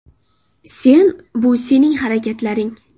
Sen – bu sening harakatlaring.